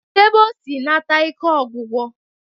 Kedu ebe o si nata ike ọgwụgwụ?